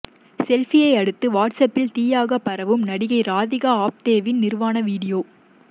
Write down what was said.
செல்ஃபியை அடுத்து வாட்ஸ்ஆப்பில் தீயாக பரவும் நடிகை ராதிகா ஆப்தேவின் நிர்வாண வீடியோ